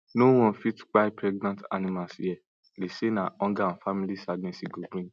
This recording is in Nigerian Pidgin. no one fit kpai pregnant animals here dey say na hunger and family sadness e go bring